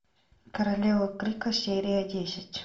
королева крика серия десять